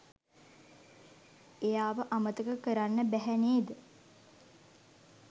එයාව අමතක කරන්න බැහැ නේද